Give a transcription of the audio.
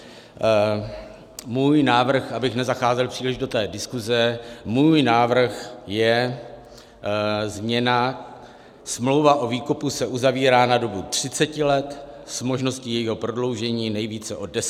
Můj návrh, abych nezacházel příliš do té diskuse, můj návrh je změna: Smlouva o výkupu se zavírá na dobu 30 let s možností jejího prodloužení nejvíce o 10 let.